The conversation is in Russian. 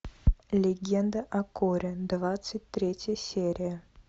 легенда о корре двадцать третья серия